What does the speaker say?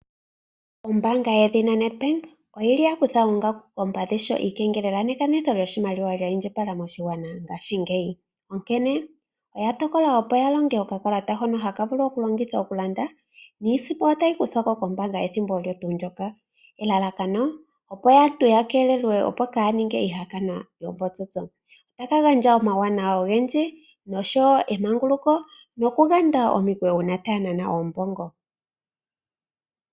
Ombaanga yedhina NEDBANK oyili ya kutha oongaku koompadhi sho iikengelela nekanitho lyoshimaliwa lya indjipala moshigwana ngaashingeyi. Onkene, oya tokola opo ya longe okakalata hono haka vulu okulongithwa okulanda, niisimpo otayi kuthwa ko kombaanga ethimbo olyo tuu ndyoka, elalakano opo aantu ya keelelwe opo kaa ninge iihakanwa yoombotsotso. Otaka gandja omauwanawa ogendji noshowo emanguluko nokuganda omikweyo uuna taya nana oombongo.